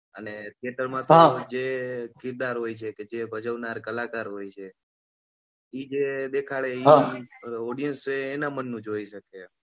અને ખેતરમાં જે ગિરનાર હોય છે કે ભજવનાર કલાકાર હોય છે એ જે દેખાડે એ audience એના મનનું જોઈ શકે છે.